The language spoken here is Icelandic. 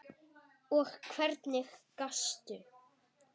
Og hvernig gastu?